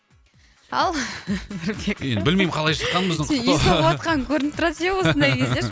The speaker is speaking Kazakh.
ал нұрбек енді білмеймін қалай шыққанын біздің құттықтау сен үй соғыватқаның көрініп тұрады иә осындай кезде ше